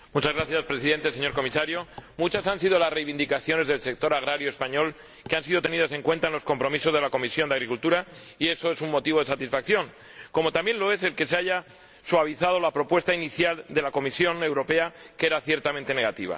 Señor Presidente, señor Comisario, muchas han sido las reivindicaciones del sector agrario español que han sido tenidas en cuenta en los compromisos de la Comisión de Agricultura y eso es un motivo de satisfacción, como también lo es el que se haya suavizado la propuesta inicial de la Comisión Europea, que era ciertamente negativa.